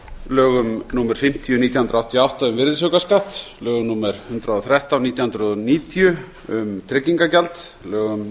lögum númer fimmtíu nítján hundruð áttatíu og átta um virðisaukaskatt lögum númer eitt hundrað og þrettán nítján hundruð níutíu um tryggingagjald lögum